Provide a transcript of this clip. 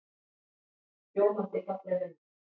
Ljómandi falleg mynd.